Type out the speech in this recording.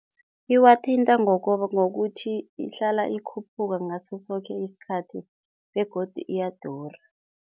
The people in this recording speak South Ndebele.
Iwathinta ngokuthi ihlala ikhuphuka ngaso soke isikhathi begodu iyadura.